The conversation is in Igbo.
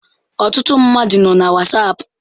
Ọtụtụ mmadụ nọ na whatsapp